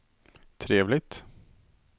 trevligt